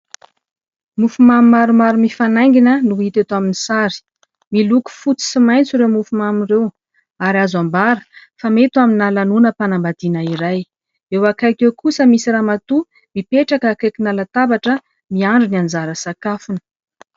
Mofomamy maromaro mifanaingina no hita eto amin'ny sary. Miloko fotsy sy maitso ireo mofomamy ireo. Ary azo ambara fa mety ho amina lanonam-panambadiana iray. Eo akaiky eo kosa misy ramatoa mipetraka akaikina latabatra miandry ny anjara sakafony.